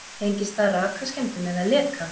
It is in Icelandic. Tengist það rakaskemmdum eða leka?